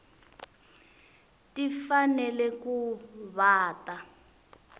ti fanele ku va ta